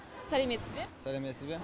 сәлеметсіз бе сәлеметсіз бе